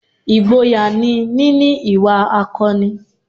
Ìgboyà ni níní ìwà akọni